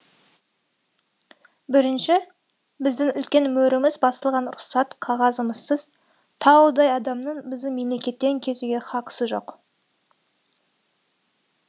бірінші біздің үлкен мөріміз басылған рұқсат қағазымызсыз таудай адамның біздің мемлекеттен кетуге хақысы жоқ